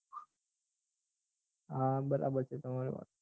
હા બરાબર છે તમારી વાત